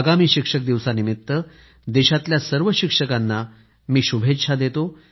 आगामी शिक्षक दिवसानिमित्त देशातल्या सर्व शिक्षकांना मी शुभेच्छा देतो